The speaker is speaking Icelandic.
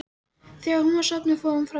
Þegar hún var sofnuð fór hann fram í stofu.